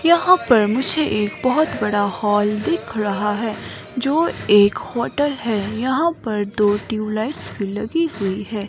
यहां पर मुझे एक बहुत बड़ा हॉल दिख रहा है जो एक होटल है यहां पर दो ट्यूब लाइट्स लगी हुई हैं।